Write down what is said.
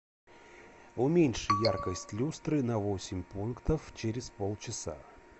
уменьши яркость люстры на восемь пунктов через полчаса